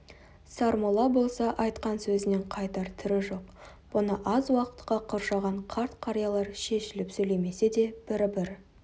сармолла болса айтқан сөзінен қайтар түрі жоқ бұны аз уақытқа қоршаған қарт-қариялар шешіліп сөйлемесе де бір-бір